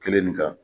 Kelen nin kan